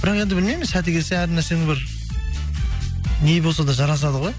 бірақ енді білмеймін сәті келсе әр нәрсенің бір не болса да жарасады ғой